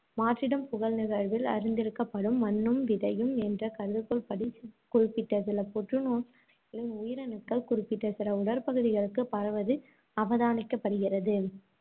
மாற்றிடம் புகல் நிகழ்வில் அறிந்திருக்கப்படும் மண்ணும் விதையும் என்ற கருதுகோள்படி, குறிப்பிட்ட சில புற்றுநோய் வகைகளின் உயிரணுக்கள், குறிப்பிட்ட சில உடற்பகுதிகளுக்கு பரவுவது அவதானிக்கப்படுகிறது